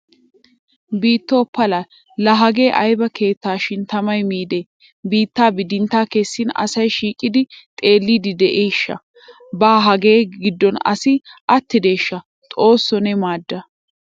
Biittoo pala!! Laa hagee ayba keettaa shin tamay miidi biitta bidintta kessin asay shiiqidi xeellid de'iishsha? Ba hagaa giddon asi attideeshsha xoosso ne maadda!